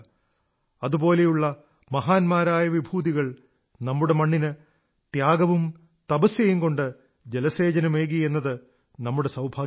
അതുപോലുള്ള മഹാന്മാരായ വിഭൂതികൾ നമ്മുടെ മണ്ണിന് ത്യാഗവും തപസ്യയും കൊണ്ട് ജലസേചനമേകി എന്നത് നമ്മുടെ സൌഭാഗ്യമാണ്